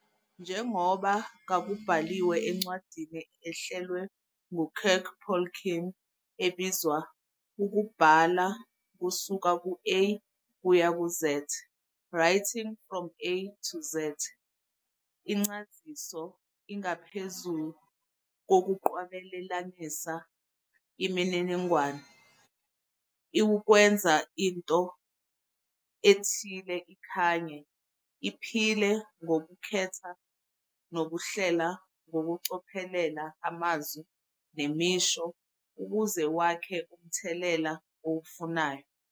Njengoba kubaluliwe encwadini ehlelwe ngu-Kirk Polking ebizwa "Ukubhala kusuka ku-A kuya ku-Z "Writing from A to Z", incaziso ingaphezu kokunqwabelanisa imininingwane, iwukwenza into ethile ikhanye, iphile ngokukhetha nokuhlela ngokucophelela amazwi nemisho ukuze wakhe umthelela owufunayo.